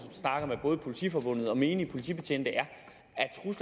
snakker med både politiforbundet og menige politibetjente er